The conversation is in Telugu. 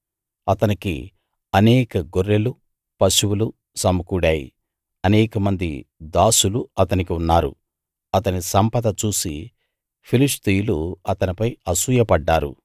అతనికి అనేక గొర్రెలూ పశువులూ సమకూడాయి అనేకమంది దాసులు అతనికి ఉన్నారు అతని సంపద చూసి ఫిలిష్తీయులు అతనిపై అసూయపడ్డారు